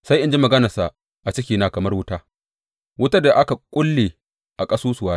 sai in ji maganarsa a cikina kamar wuta, wutar da aka kulle a ƙasusuwana.